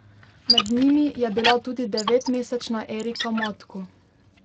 Med njimi je bila tudi devetmesečna Erika Matko.